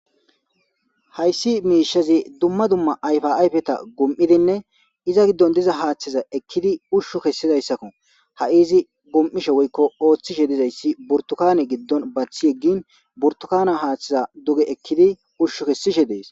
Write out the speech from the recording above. Hayssi miishazi dumma dumma ayfaayfeta gum7idinne iza giddon diza haaththiza ekkidi ushshu kessidayssakko ha7i izi gum7ishe woykko ooththishe dizayssi burtukane giddon bathi eggin burtukana haaththiza duge ekkidi ushshu kessishe dees.